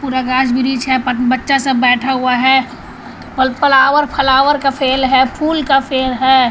Grass ब्रीच है बच्चा सब बैठा हुआ है फ्लावर फ्लावर का फेल है फूल का फेल है।